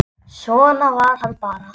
Svona var hann bara.